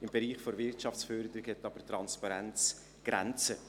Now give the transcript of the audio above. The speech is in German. Im Bereich der Wirtschaftsförderung hat aber Transparenz Grenzen.